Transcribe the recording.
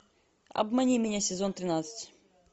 обмани меня сезон тринадцать